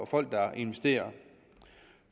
folk der investerer